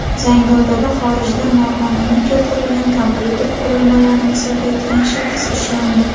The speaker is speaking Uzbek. Zangiotada xorijdan noqonuniy keltirilgan kompyuter qurilmalarini sotayotgan shaxs ushlandi.